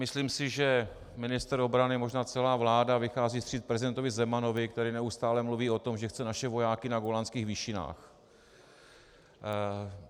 Myslím si, že ministr obrany, možná celá vláda vychází vstříc prezidentovi Zemanovi, který neustálé mluví o tom, že chce naše vojáky na Golanských výšinách.